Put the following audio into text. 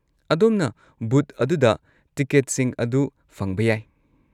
ꯑꯗꯣꯝꯅ ꯕꯨꯊ ꯑꯗꯨꯗ ꯇꯤꯀꯦꯠꯁꯤꯡ ꯑꯗꯨ ꯐꯪꯕ ꯌꯥꯏ꯫